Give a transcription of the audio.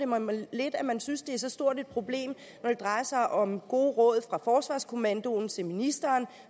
mig lidt at man synes at det er så stort problem når det drejer sig om gode råd fra forsvarskommandoen til ministeren